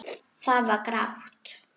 Það var grátt.